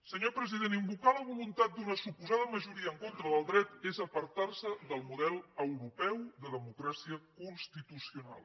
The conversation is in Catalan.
senyor president invocar la voluntat d’una suposada majoria en contra del dret és apartar se del model europeu de democràcia constitucional